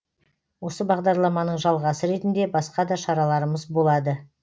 осы бағдарламаның жалғасы ретінде басқа да шараларымыз болады